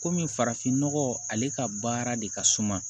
Komi farafin nɔgɔ ale ka baara de ka suma